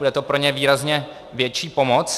Bude to pro ně výrazně větší pomoc.